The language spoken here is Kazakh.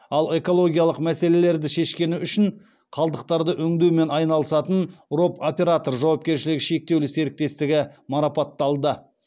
ал экологиялық мәселелерді шешкені үшін қалдықтарды өңдеумен айналысатын роп операторы жауапкершілігі шектеулі серіктестігі марапатталды